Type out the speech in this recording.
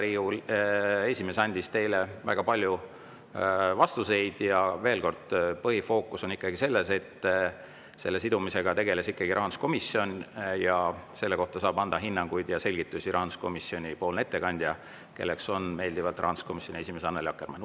Riigikogu esimees andis teile väga palju vastuseid ja veel kord: põhiline on ikkagi see, et selle sidumisega tegeles rahanduskomisjon ja selle kohta saab anda hinnanguid ja selgitusi rahanduskomisjonipoolne ettekandja, kelleks on rahanduskomisjoni esimees Annely Akkermann.